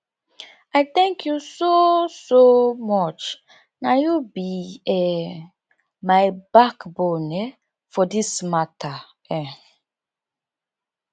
i thank you so so much na you be um my backbone um for this mata um